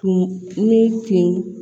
Tun ne kun